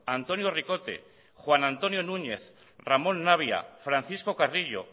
antonio ricote juan antonio núñez ramón navia francisco carrillo